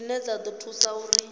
dzine dza ḓo thusa uri